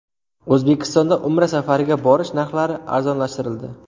O‘zbekistonda Umra safariga borish narxlari arzonlashtirildi.